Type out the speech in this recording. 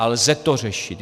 A lze to řešit.